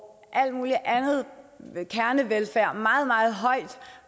al mulig anden kernevelfærd meget meget højt